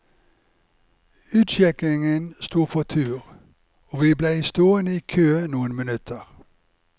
Utsjekkingen sto for tur, og vi blei stående i kø noen minutter.